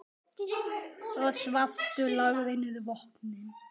og svartur lagði niður vopnin.